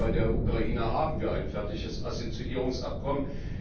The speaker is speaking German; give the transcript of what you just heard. bei der Ukraine haben wir ein fertiges Assoziierungsabkommen.